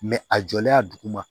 a jɔlen a dugu ma